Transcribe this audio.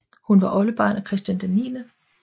Hun var oldebarn af Christian 9